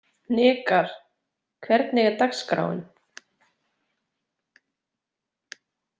Hnikar, hvernig er dagskráin?